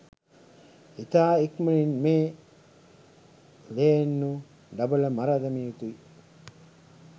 ඉතා ඉක්මනින් මේ ලේන්නු ඩබල මර දැමිය යුතුය